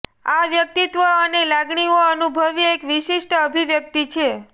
આ વ્યક્તિત્વ અને લાગણીઓ અનુભવી એક વિશિષ્ટ અભિવ્યક્તિ છે